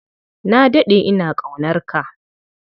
Na daɗe ina ƙaunarka.